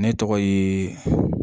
Ne tɔgɔ ye